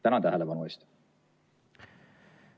Tänan tähelepanu eest!